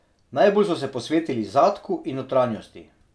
Najbolj so se posvetili zadku in notranjosti.